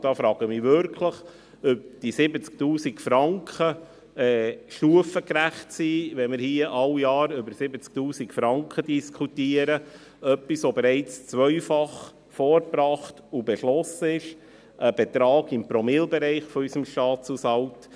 Ich frage mich wirklich, ob diese 70 000 Franken stufengerecht sind, wenn wir hier jedes Jahr über 70 000 Franken diskutieren, über etwas, das bereits zweimal vorgebracht und beschlossen wurde, ein Betrag im Promillebereich unseres Staatshaushalts.